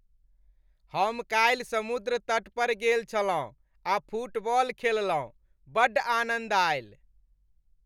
हम काल्हि समुद्र तट पर गेल छलहुँ आ फुटबॉल खेललहुँ। बड्ड आनन्द आयल।